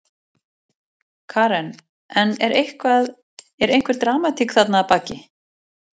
Karen: En er eitthvað, er einhver dramatík þarna að baki?